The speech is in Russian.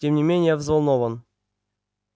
тем не менее я взволнован